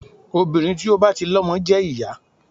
Obìnrin tí ó bá ti lọmọ jẹ́ ìyá.